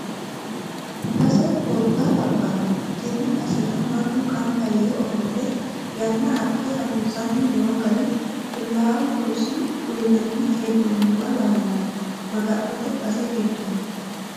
Base gobba labbano tene basera mannu gamba yee ofolle yanna adhe harunsanni no gari qulaawu roso uyinanni hee'nonniwa lawano Maga'note base giddoni.